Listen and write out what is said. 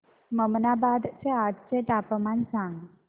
ममनाबाद चे आजचे तापमान सांग